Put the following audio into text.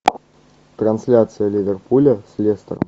трансляция ливерпуля с лестер